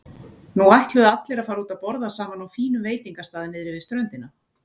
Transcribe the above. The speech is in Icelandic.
Nú ætluðu allir að fara út að borða saman á fínum veitingastað niðri við ströndina.